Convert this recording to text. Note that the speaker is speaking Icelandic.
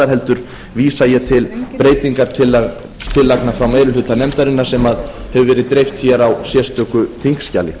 heldur vísa ég til breytingartillagna frá meiri hluta nefndarinnar sem hefur verið dreift hér á sérstöku þingskjali